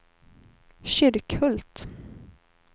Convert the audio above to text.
Kyrkhult